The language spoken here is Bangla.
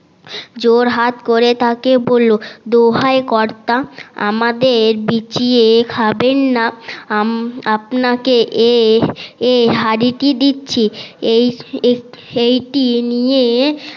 জোড় হাত করে তাকে বললো দোহায় কর্তা আমাদের চিবিয়ে খাবেন না আপনাকে এই হাড়িটি দিচ্ছি এটি নিয়ে